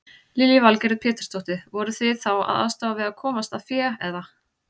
Lillý Valgerður Pétursdóttir: Voruð þið þá að aðstoða við að komast að fé eða?